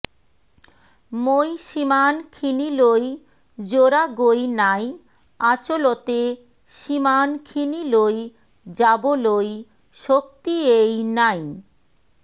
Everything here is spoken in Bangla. মই সিমানখিনিলৈ যোৱাগৈ নাই আচলতে সিমানখিনিলৈ যাবলৈ শক্তিয়েই নাই